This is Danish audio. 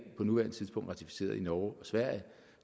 på nuværende tidspunkt ratificeret i norge og sverige